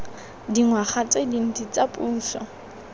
dingwaga tse dintsi tsa puso